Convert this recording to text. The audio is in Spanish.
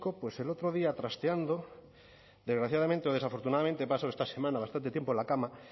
pues el otro día trasteando desgraciadamente o desafortunadamente he pasado esta semana bastante tiempo en la cama